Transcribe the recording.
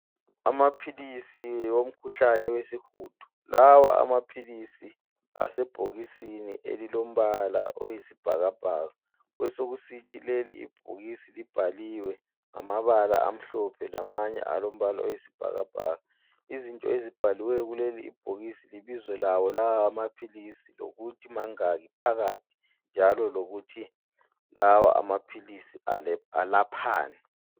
Amaphilisi omkhuhlane wesihudo. Lawa amaphilisi asebhokisini elilombala oyisibhakabhaka, besekusithi leli ibhokisi libhaliwe ngamabala amhlophe lamanye alombala oyisibhakabhaka. Izinto ezibhaliweyo kuleli ibhokisi libizo lawo lawa amaphilisi lokuthi mangaki phakathi njalo lokuthi lawa amaphilisi alaphani.